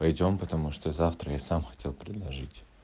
пойдём потому что завтра я сам хотел предложить